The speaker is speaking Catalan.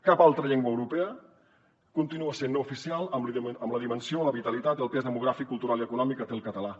cap altra llengua europea continua sent no oficial amb la dimensió la vitalitat i el pes demogràfic cultural i econòmic que té el català